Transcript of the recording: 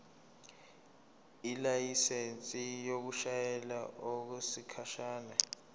ilayisensi yokushayela okwesikhashana